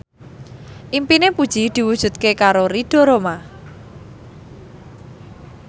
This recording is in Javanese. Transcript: impine Puji diwujudke karo Ridho Roma